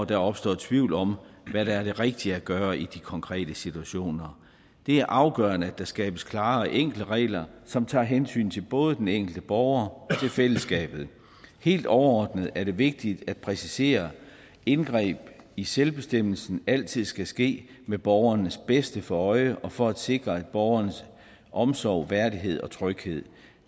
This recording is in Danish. der opstår tvivl om hvad der er det rigtige at gøre i de konkrete situationer det er afgørende at der skabes klare og enkle regler som tager hensyn til både den enkelte borger og til fællesskabet helt overordnet er det vigtigt at præcisere at indgreb i selvbestemmelsen altid skal ske med borgerens bedste for øje og for at sikre borgeren omsorg værdighed og tryghed